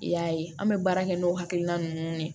I y'a ye an bɛ baara kɛ n'o hakilina ninnu de ye